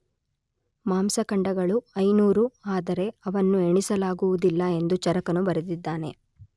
ಮಾಂಸಖಂಡಗಳು 500, ಆದರೆ ಅವನ್ನು ಎಣಿಸಲಾಗುವುದಿಲ್ಲ ಎಂದು ಚರಕನು ಬರೆದಿದ್ದಾನೆ.